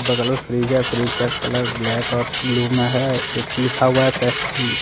बगल मे फ्रीज है फ्रिज का कलर ब्लैक और ब्लू मे है। एक लिखा हुआ है पेप्सी ।